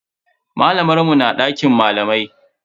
Malamar mu na dakin malamai.